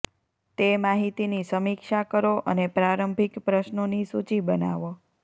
તે માહિતીની સમીક્ષા કરો અને પ્રારંભિક પ્રશ્નોની સૂચિ બનાવો